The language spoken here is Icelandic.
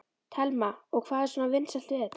Telma: Og hvað er svona vinsælt við þetta?